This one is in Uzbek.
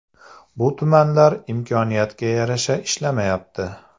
Bu tumanlar imkoniyatga yarasha ishlamayapti.